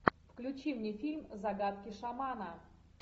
включи мне фильм загадки шамана